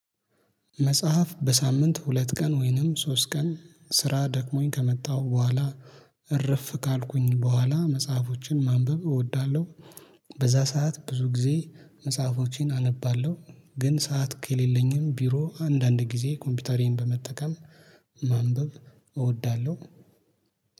መጽሐፍ በሳምንት ሁለት ቀን ወይንም ሶስት ቀን ስራ ደክሞኝ ከመጣሁ በኋላ እረፍ ካልኩኝ በኋላ መጽሐፎችን ማንበብ እወዳለሁ። በዛ ሰዓት ብዙ ጊዜ መጽሐፎቼን አነባለሁ። ግን ሰዓት ከሌለኝም ቢሮ አንዳንድ ጊዜ ኮምፒውተሪን በመጠቀም ማንበብ እወዳለሁ